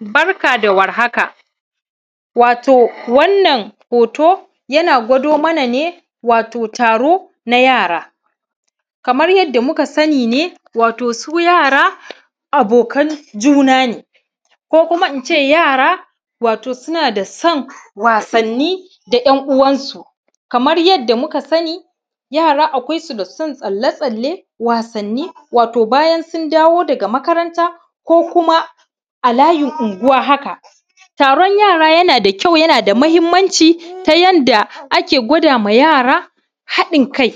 Barka da war haka. Wato wannan hoto, yana gwado mana ne, wato taro na yara. Kamar yadda muka sani ne, wato su yara abokan juna ne, ko kuma in ce wato yara suna da son wasanni da ‘yan uwansu. Kamar yadda muka sani, yara akwai su da son tsalle-tsalle, wasanni, wato bayan sun dawo daga makaranta ko kuma a layin unguwa haka. Taron yara yana da kyau, yana da muhimmanci, ta yanda ake gwada ma yara haɗin kai.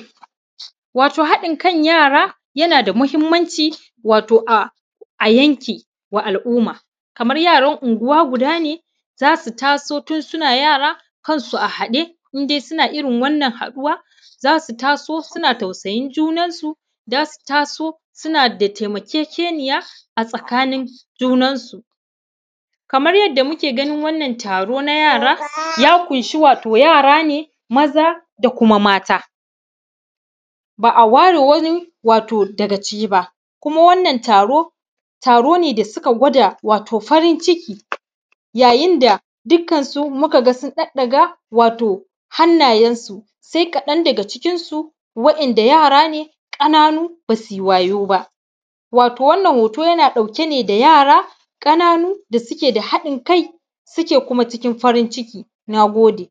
Wato haɗin kan yara, yana da muhimmanci, wato a, a yanki wa al’umma. Kamar yaran unguwa guda ne, za su taso tun suna yara kansu a haɗe, in dais una irin wannan haɗuwa, za su taso suna tausayin junansu, za su taso suna da taimakekeniya a tsakanin junansu. Kamar yadda muke ganin wannan taro na yara, ya ƙunshi wato yara ne, maza da kuma mata, ba a ware wani wato daga ciki ba. Kuma wannan taro, taro ne da suka gwada wato farin ciki, yayin da dukkansu muka ga sun ɗaɗɗaga wato hannayensu, sai kaɗan daga cikinsu waɗanda yara ne ƙananu, ba su yi wayo ba. Wato wannan hoto yana ɗauke ne da yara ƙananu da suke da haɗin kai, suke kuma cikin farin ciki. Na gode.